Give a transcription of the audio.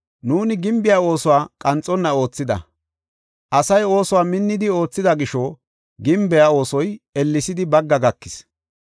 Nuuni gimbiya oosuwa qanxonna oothida. Asay oosuwa minni oothida gisho gimbiya oosoy ellesidi bagga gakis.